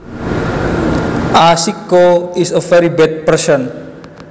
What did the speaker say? A sicko is a very bad person